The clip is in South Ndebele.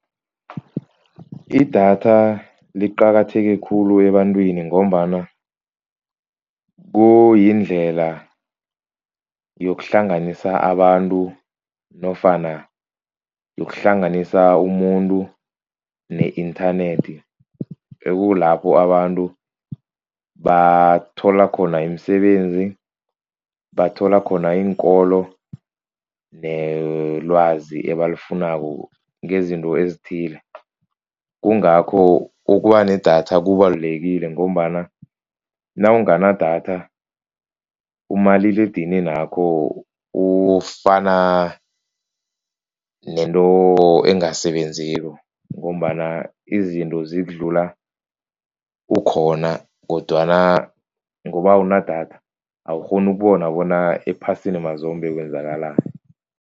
Idatha liqakatheke khulu ebantwini ngombana kuyindlela yokuhlanganisa abantu nofana yokuhlanganisa umuntu ne-internet. Ekukulapho abantu bathola khona imisebenzi. Bathola khona iinkolo nelwazi ebalifunako ngezinto ezithile. Kungakho ukuba nedatha kubalulekile ngombana nawunganadatha umaliledininakho ufana nento engasebenziko. Ngombana izinto zikudlula ukhona kodwana ngoba awunadatha awukghoni ukubona bona ephasini mazombe kwenzakalani.